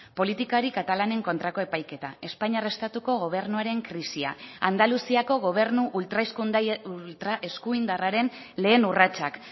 politikari katalanen kontrako epaiketa espainiar estatuko gobernuaren krisia andaluziako gobernu ultraeskuindarraren lehen urratsak